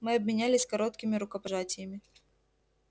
мы обменялись короткими рукопожатиями